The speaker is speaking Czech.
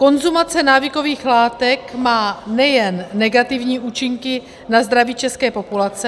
Konzumace návykových látek má nejen negativní účinky na zdraví české populace...